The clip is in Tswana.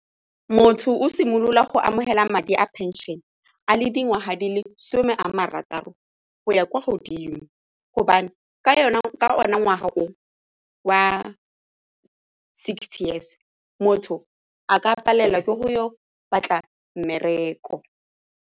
Motho o simolola go amogela madi a pension-e a le dingwaga di le some a marataro go ya kwa godimo gobane ka ngwaga wa sixty years motho a ka palelwa ke go batla mmereko.